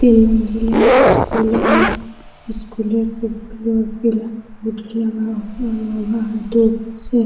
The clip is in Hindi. तीन मंज़िले स्कूले है स्कूले के बॉडी लगा हुआ है गेट पर से।